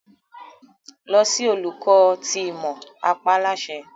Lọ si Oluko ti Imọ! a pa á láṣẹ